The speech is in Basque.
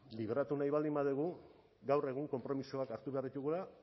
libratu nahi baldin badugu gaur egun konpromisoak hartu behar ditugula